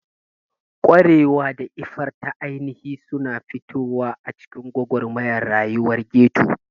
Ƙwarewa da iffar ta ainihi suna fitowa a cikin gwagwarmayar rayuwar ghetto.